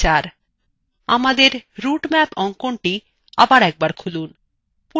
আমাদের রুটম্যাপ অঙ্কনটি আবার একবার খুলুন